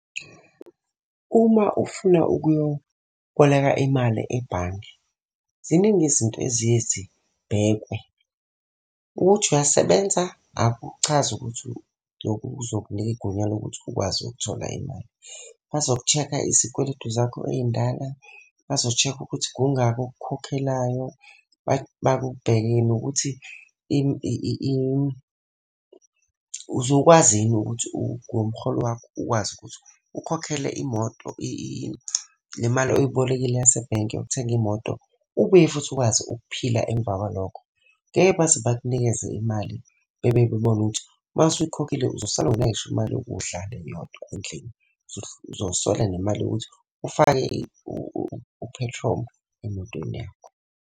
Uma ufuna ukuyokuboleka imali ebhange, ziningi izinto eziye zibhekwe. Ukuthi uyasebenza, akuchazi ukuthi lokhu kuzokunika igunya lokuthi ukwazi ukuthola imali. Bazokushekha izikweletu zakho ey'ndala, bazoshekha ukuthi kungaki okukhokhelayo. Bakubhekele nokuthi uzokwazi yini ukuthi ngomholo wakho ukwazi ukuthi ukhokhele imoto le mali oyibolekile yasebhenki yokuthenga imoto, ubuye futhi ukwazi ukuphila emva kwalokho. Ngeke baze bakunikeze imali bebe bebona ukuthi uma usuyikhokhile uzosala ungenayo gisho imali yokudla le yodwa endlini. Uzosola nemali yokuthi ufake uphethromu emotweni yakho.